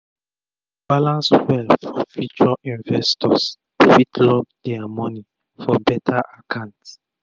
to balance well for future investors fit lock dia moni for beta akant